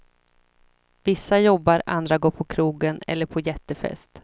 Vissa jobbar, andra går på krogen eller på jättefest.